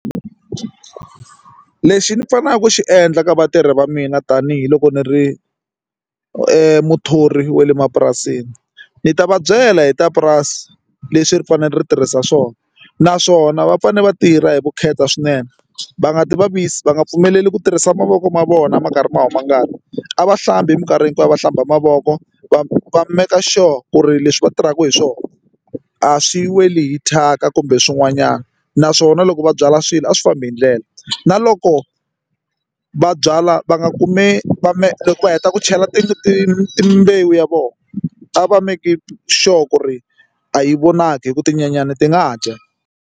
Lexi ni faneleke ku xi endla ka vatirhi va mina tanihiloko ni ri muthori wa le mapurasini ni ta va byela hi ta purasi leswi ri fanele ri tirhisa swona naswona va fanele va tirha hi vukheta swinene va nga ti vavisi va nga pfumeleli ku tirhisa mavoko ma vona ma karhi ma huma ngati a va hlambi hi minkarhi hinkwayo va hlamba mavoko va va make sure ku ri leswi va tirhaka hi swona a swi weli hi thyaka kumbe swin'wanyana naswona loko va byala swilo a swi fambi hi ndlela na loko va byala va nga kumi va me loko va heta ku chela timbewu ta vona a va make sure ku ri a yi vonaki hi ku tinyenyani ti nga dya.